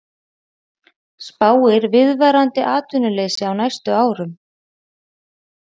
Spáir viðvarandi atvinnuleysi á næstu árum